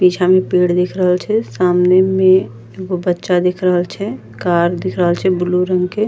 पीछा में पेड़ दिख रहल छे सामने में एगो बच्चा दिख रहल छे कार दिख रहल छे ब्लू रंग के।